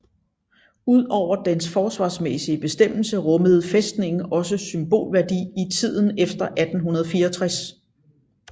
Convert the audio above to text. Ud over dens forsvarsmæssige bestemmelse rummede fæstningen også symbolværdi i tiden efter 1864